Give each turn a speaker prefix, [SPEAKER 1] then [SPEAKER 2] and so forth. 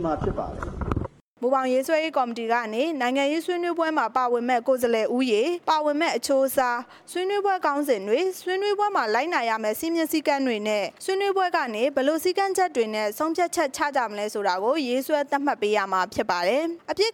[SPEAKER 1] မှာဖြစ်ပါတယ်။
[SPEAKER 2] မူဘောင်ရေးဆွဲရေးကော်မတီကနေ နိုင်ငံရေးဆွေးနွေးပွဲမှာ တက်ရောက်ခွင့်ရမယ့် ကိုယ်စားလှယ် အရေ အတွက်၊ ဆွေးနွေးမယ့်ခေါင်းစဉ်တွေ၊ ဆွေးနွေးပွဲမှာ လိုက်နာရမယ့် စည်းမျဉ်းစည်းကမ်းတွေနဲ့ ဆွေးနွေးပွဲကနေ ဘယ်လိုစည်းကမ်းချက် တွေနဲ့ ဆုံးဖြတ်ချက်ချမလဲဆိုတာတွေကို ရေးဆွဲသတ်မှတ်ပေးမှာဖြစ်ပါတယ်။ တစ်